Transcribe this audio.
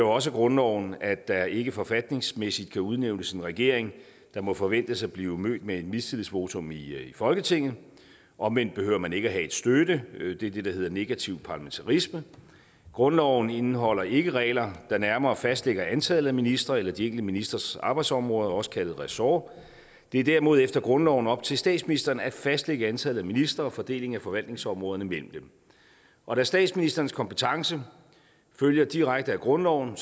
også af grundloven at der ikke forfatningsmæssigt kan udnævnes en regering som må forventes at blive mødt med et mistillidsvotum i folketinget omvendt behøver man ikke have støtte det er det der hedder negativ parlamentarisme grundloven indeholder ikke regler der nærmere fastlægger antallet af ministre eller de enkelte ministres arbejdsområder også kaldet ressort det er derimod efter grundloven op til statsministeren at fastlægge antallet af ministre og fordelingen af forvaltningsområderne mellem dem og da statsministerens kompetence følger direkte af grundloven